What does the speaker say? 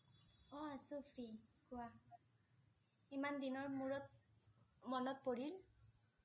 অ' আছোঁ free কোৱা। ইমান দিনৰ মূৰত মনত পৰিল?